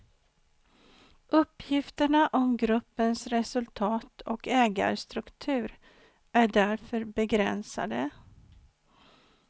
Uppgifterna om gruppens resultat och ägarstruktur är därför begränsade.